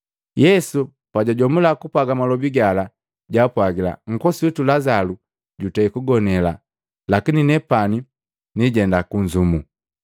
Yesu pajwajomula kupwaga malobi gala, jwaapwagila, “Nkosi witu Lazalu jutei kugonela, lakini nepani niijenda kunnzumu.”